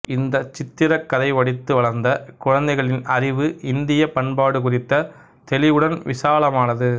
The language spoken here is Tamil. இந்த சித்திரக் கதை படித்து வளர்ந்த குழந்தைகளின் அறிவு இந்தியப் பண்பாடு குறித்த தெளிவுடன் விசாலமானது